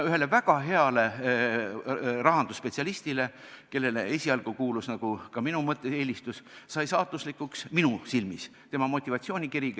Ühele väga heale rahandusspetsialistile, kellele esialgu kuulus mõnes mõttes ka minu eelistus, sai aga minu silmis saatuslikuks motivatsioonikiri.